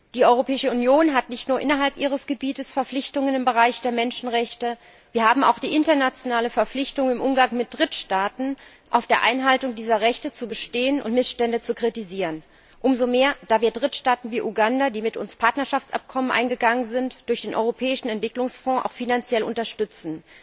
Die Europäische Union hat nicht nur innerhalb ihres Gebietes Verpflichtungen im Bereich der Menschenrechte, wir haben auch die internationale Verpflichtung, im Umgang mit Drittstaaten auf der Einhaltung dieser Rechte zu bestehen und Missstände zu kritisieren, umso mehr, als wir Drittstaaten wie Uganda, die mit uns Partnerschaftsabkommen eingegangen sind, durch den Europäischen Entwicklungsfonds auch finanziell unterstützen.